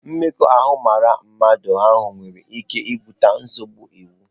Mmekọahụ mara mmadụ ahụ nwere ike ibute nsogbu iwu.